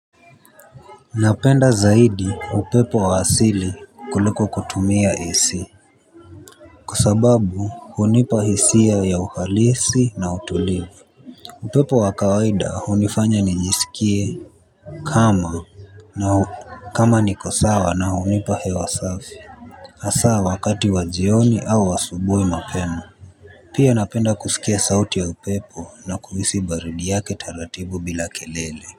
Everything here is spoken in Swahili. Napenda zaidi upepo wa asili kuliko kutumia AC. Kwa sababu hunipa hisia ya uhalisi na utulivu. Upepo wa kawaida hunifanya nijiskie kama kama niko sawa na hunipa hewa safi hasaa wakati wa jioni au wa asubuhi mapema. Pia napenda kuskia sauti ya upepo na kuhisi baridi yake taratibu bila kelele.